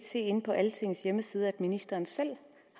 inde på altingets hjemmeside se at ministeren selv